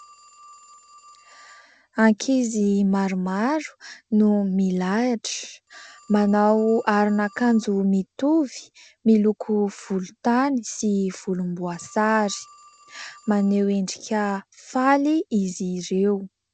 Ankizy maromaro no milahatra manao aron'ankajo mitovy miloko volotany sy volom-boasary. Maneho endrika faly izy ireo.